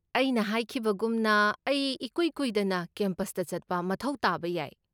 ꯑꯩꯅ ꯍꯥꯏꯈꯤꯕꯒꯨꯝꯅ, ꯑꯩ ꯏꯀꯨꯏ ꯀꯨꯏꯗꯅ ꯀꯦꯝꯄꯁꯇ ꯆꯠꯄ ꯃꯊꯧ ꯇꯥꯕ ꯌꯥꯏ꯫